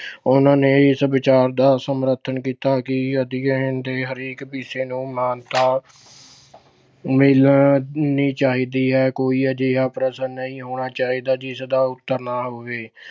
ਉਹਨਾਂ ਨੇ ਇਸ ਵਿਚਾਰ ਦਾ ਸਮਰਥਨ ਕੀਤਾ ਕਿ ਅਧਿਐਨ ਦੇ ਹਰੇਕ ਵਿਸ਼ੇ ਨੂੰ ਮਾਨਤਾ ਮਿਲਣੀ ਚਾਹੀਦੀ ਹੈ। ਕੋਈ ਅਜਿਹਾ ਪ੍ਰਸ਼ਨ ਨਹੀਂ ਹੋਣਾ ਚਾਹੀਦਾ ਜਿਸ ਦਾ ਉੱਤਰ ਨਾ ਹੋਵੇ